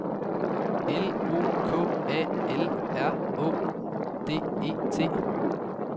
L O K A L R Å D E T